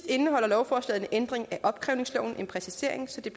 indeholder lovforslaget en ændring af opkrævningsloven med en præcisering så det